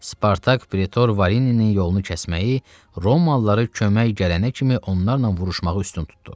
Spartak pretor Varinin yolunu kəsməyi, Romalıları kömək gələnə kimi onlarla vuruşmağı üstün tutdu.